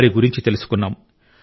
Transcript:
వారి గురించి తెలుసుకున్నాం